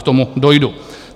K tomu dojdu.